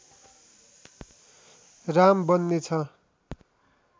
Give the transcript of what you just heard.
राम बन्ने छ